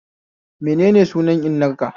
Menene sunan innar ka?